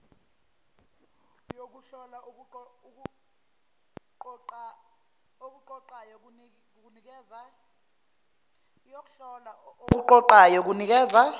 yokuhlola okuqoqayo kunikeza